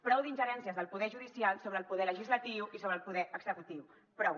prou d’ingerències del poder judicial sobre el poder legislatiu i sobre el poder executiu prou